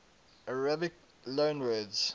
arabic loanwords